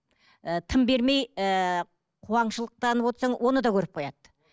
ііі тым бермей ііі қуаңшылықтанып отырсаң оны да көріп қояды